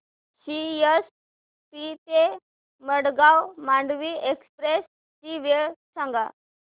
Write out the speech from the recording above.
CST ते Madgaon Mandovi express ची वेळ सांगा